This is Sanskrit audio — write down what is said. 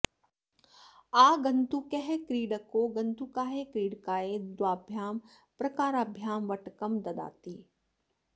आगन्तुकः क्रीडको गन्तुकाय क्रीडकाय द्वाभ्यां प्रकाराभ्यां वट्टकं ददाति